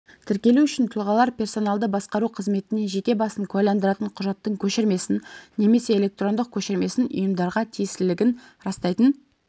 тіркелу үшін тұлғалар персоналды басқару қызметіне жеке басын куәландыратын құжаттың көшірмесін немесе электрондық көшірмесін ұйымдарға тиесілілігін растайтын